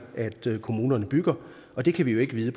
kommunerne bygger og det kan vi jo ikke vide